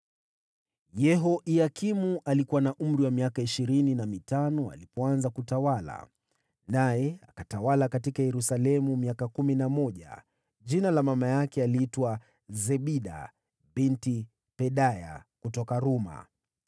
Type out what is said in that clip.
Yehoyakimu alikuwa na umri wa miaka ishirini na mitano alipoanza kutawala, naye akatawala huko Yerusalemu miaka kumi na mmoja. Jina la mama yake aliitwa Zebida binti Pedaya kutoka Ruma.